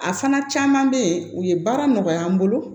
A fana caman bɛ yen u ye baara nɔgɔya n bolo